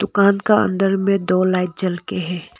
दुकान का अंदर में दो लाइट जलके है।